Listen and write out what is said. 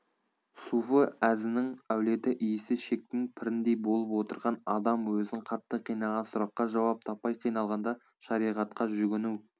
суфы әзінің әулеті иісі шектінің піріндей болып отырған адам өзін қатты қинаған сұраққа жауап таппай қиналғанда шариғатқа жүгіну